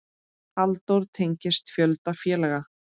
Halldór tengist fjölda félaga.